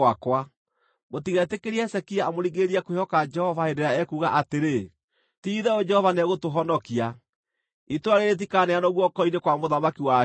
Mũtigetĩkĩre Hezekia amũringĩrĩrie kwĩhoka Jehova hĩndĩ ĩrĩa ekuuga atĩrĩ, ‘Ti-itherũ Jehova nĩegũtũhonokia; itũũra rĩĩrĩ rĩtikaneanwo guoko-inĩ kwa mũthamaki wa Ashuri.’